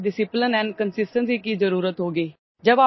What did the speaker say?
इसके लिए बहुतdiscipline ଆଣ୍ଡ୍ କନସିଷ୍ଟେନ୍ସି की जरुरत होगी